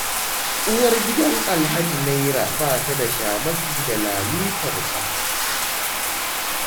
Uwar gidan Alhaji Naira ba ta da shamaki da lalitarsa.